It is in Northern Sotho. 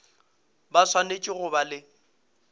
ba swanetše go ba le